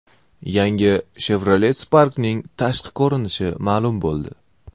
Yangi Chevrolet Spark’ning tashqi ko‘rinishi ma’lum bo‘ldi.